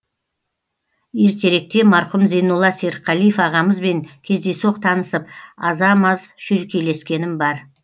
ертеректе марқұм зейнолла серікқалиев ағамызбен кездейсоқ танысып аза маз шүйіркелескенім бар